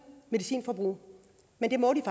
medicinforbrug men det må de